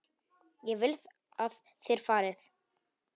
Ég vil að þér farið.